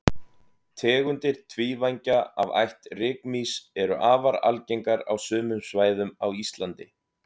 tegundir tvívængja af ætt rykmýs eru afar algengar á sumum svæðum á íslandi